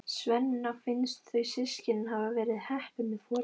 Svenna finnst þau systkinin hafa verið heppin með foreldra.